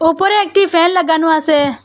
উপরে একটি ফ্যান লাগানো আসে।